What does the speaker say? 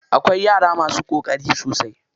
Akwai yara masu ƙoƙari sosai.